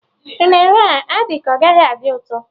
Unere a dị ka ọ gaghị adị ụtọ